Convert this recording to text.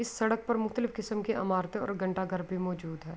اس سڈک پر مختلف کسم کے اماراتے اور گھنٹا گھر بھی موزود ہے۔